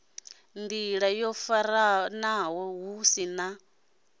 nḓila yo faranaho hu na